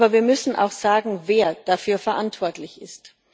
Wir müssen aber auch sagen, wer dafür verantwortlich ist.